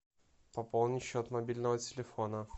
пополни счет мобильного телефона